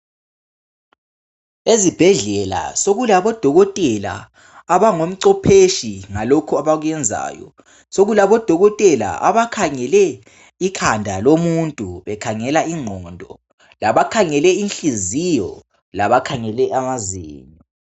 Ezibhedlela sokulabodokotela abangomcopheshi ngalokhu abakwenzayo, sokulabodokotela abakhangele ikhanda lomuntu bekhangela ingqondo labakhangele inhliziyo labakhangela amazinyo.